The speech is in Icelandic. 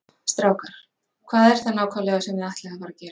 Strákar, hvað er það nákvæmlega sem þið ætlið að fara að gera?